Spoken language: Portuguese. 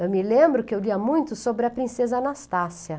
Eu me lembro que eu lia muito sobre a princesa Anastácia.